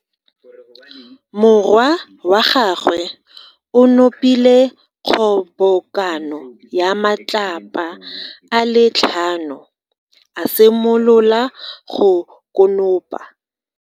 Morwa wa gagwe o nopile kgobokano ya matlapa a le tlhano, a simolola go konopa.